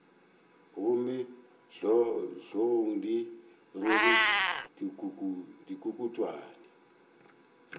gomme hlogong di rwele dikukutwane